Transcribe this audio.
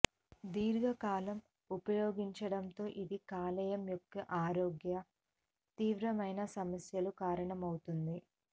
దీర్ఘకాలం ఉపయోగించడంతో ఇది కాలేయం యొక్క ఆరోగ్య తీవ్రమైన సమస్యలు కారణమవుతుంది